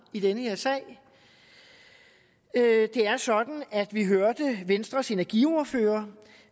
i den her sag det er sådan at vi hørte venstres energiordfører